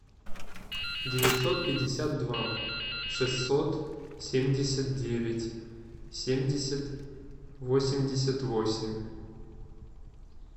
девятьсот пятьдесят два шестьсот семьдесят девять семьдесят восемьдесят восемь